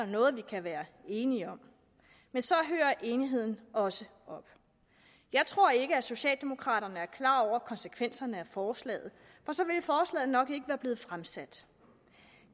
noget vi kan være enige om men så hører enigheden også op jeg tror ikke at socialdemokraterne er klar over konsekvenserne af forslaget nok ikke være blevet fremsat